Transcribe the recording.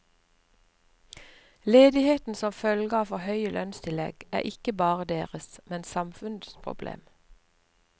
Ledigheten som følge av for høye lønnstillegg er ikke bare deres, men samfunnets problem.